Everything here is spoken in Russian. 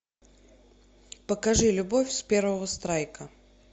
покажи любовь с первого страйка